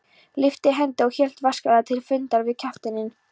lyfti hendi og hélt vasklega til fundar við kafteininn.